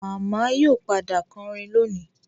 Màmá yóò padà kọrin lónìí